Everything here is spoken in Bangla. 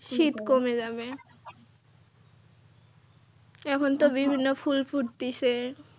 শীত কমে যাবে এখন তো বিভিন্ন ফুল ফুটতিছে।